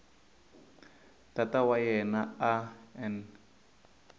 tata wa yena a n